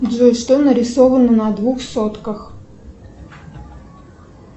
джой что нарисовано на двух сотках